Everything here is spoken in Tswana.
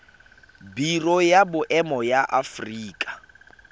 biro ya boemo ya aforika